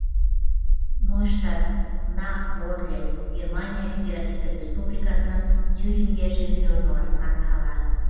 нойштадт на орле германия федеративтік республикасының тюрингия жерінде орналасқан қала